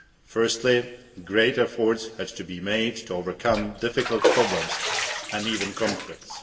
Firstly, great efforts had to be made to overcome difficult problems and even conflicts.